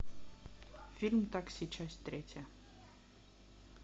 фильм такси часть третья